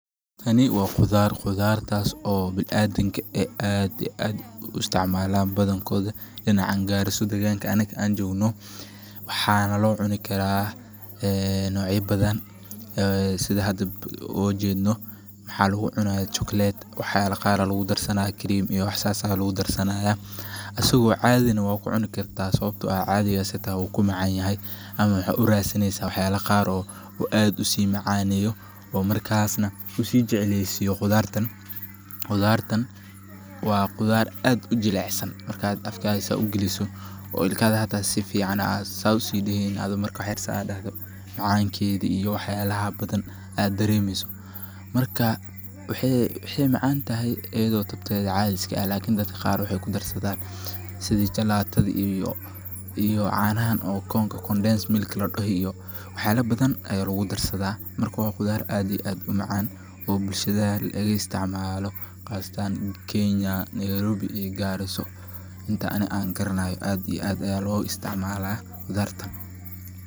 Waxani wa qudar, qudartas o biniadamka ay aad iyo aad uisticmalan badankodha, dinacan garissa deqanka anaga an jognoh, waxana locuni kara, een nocya badan, ee sidha xada o jedno, waxa lagucunaya chocolate waxyala qaar aya lagudarsana , cremyo iyo wax sas aa lagudarsana, asago caadi nah wakucunukarta, sawabto ah ,caadi asi xata wukumacanyaxay, ama waxa udarsaneysa waxyala qaar oo aad usimacaneyo, oo markas nah usijecleysiyo, qudaar taan , wa qudaar aad ujilicsaan, markad afkada saa ugaliso, oo ilkaxadhi xata si ficaan aad saa usidexeyni adhi Marka wax yar saa a daxdo macankedhi iyo waxyalaxa a daremeyso, marka waxay macantaxay ayado tabtedhi cadii iskaah, lakin dad qaar waxay kudarsadan, sidhi chalatadhi, iyo canahan oo condens milk ladoxo iyo waxyala badan aya lagudarsada, marka wa qudaar aad iyo aad u macan, oo bulshada lagaisticmalo, qaasatan Kenya , Nairobi iyo Garisaa, inta anii an garanay aad iyo aad aya logaisticmala qudaartan.